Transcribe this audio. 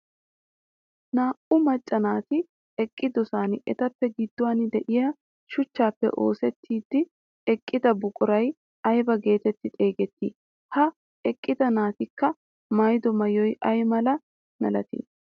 Naa"u macca naati eqqidosan etappe gidduwaan de'iyaa shuchchaappe osettidi eqqida buquray ayba getetti xeegettii? Ha eqqida naatikka maayido maayoy ay milatii?